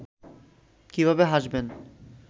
কিভাবে হাসবেন